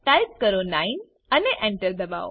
type કરો 9 અને Enter દબાઓ